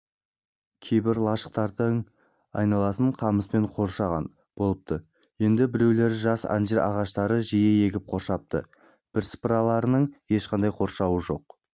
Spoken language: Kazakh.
кейбір лашықтардың айналасын қамыспен қоршаған болыпты енді біреулерін жас анжир ағаштарын жиі егіп қоршапты бірсыпыраларының ешқандай қоршауы жоқ